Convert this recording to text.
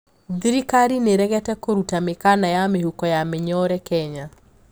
Igoti niriregete kũruta mikana ya mihuko ya minyore Kenya.